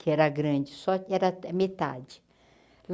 que era grande, sóte era até metade.